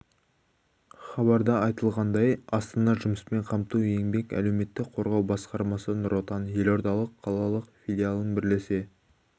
хабарда айтылғандай астана жұмыспен қамту еңбек және әлеуметтік қорғау басқармасы нұр отан елордалық қалалық филиалымен бірлесе